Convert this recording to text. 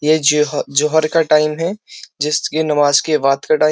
ये जोह जौहर का टाइम है जिस के नमाज के बाद का टाइम --